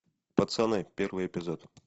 пацаны первый эпизод